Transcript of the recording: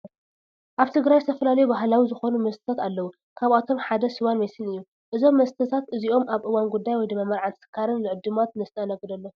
ኣብ ትግራይ ዝተፈላለዩ ባህላዊ ዝኾኑ መስተታት ኣለው፡፡ ካብኦቶም ሓደ ስዋን ሜስን እዩ፡፡ እዞም መስተታት እዚኦም ኣብ እዋን ጉዳይ (መርዓን ተስካርን) ንዕዱማት ነስተናግደሎም፡፡